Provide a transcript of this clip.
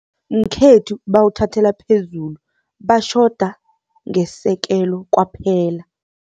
Ngekhethu bawuthathela phezulu, batjhoda ngesekelo kwaphela.